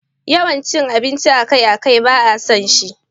Wannan cin abinci akai-akai ba a son shi.